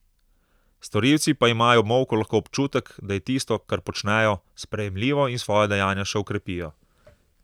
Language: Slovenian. Storilci pa imajo ob molku lahko občutek, da je tisto, kar počnejo, sprejemljivo, in svoja dejanja še okrepijo.